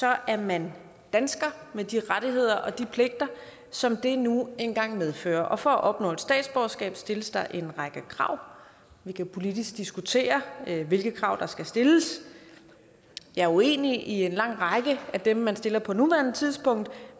er man dansker med de rettigheder og pligter som det nu engang medfører og for at opnå et statsborgerskab stilles der en række krav vi kan politisk diskutere hvilke krav der skal stilles jeg er uenig i en lang række af dem man stiller på nuværende tidspunkt